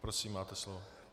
Prosím, máte slovo.